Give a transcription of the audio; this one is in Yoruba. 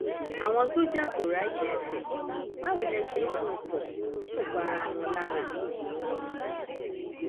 àwọn sójà kò ráyè ẹfẹ báwo lè ṣe ń mú un pọ tí kò pa ara wọn lára